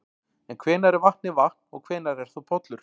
En hvenær er vatnið vatn og hvenær er það pollur?